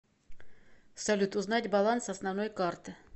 салют узнать баланс основной карты